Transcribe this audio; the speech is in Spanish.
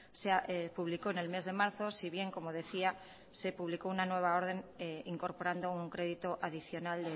se publicó en el mes de marzo si bien como decía se publicó una nueva orden incorporando un crédito adicional